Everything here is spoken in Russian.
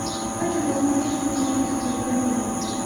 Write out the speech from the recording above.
хочу посмотреть сатирическую комедию